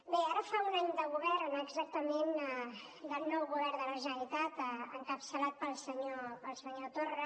bé ara fa un any de govern exactament del nou govern de la generalitat encapçalat pel senyor torra